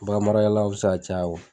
Baganmaralaw bɛ se ka caya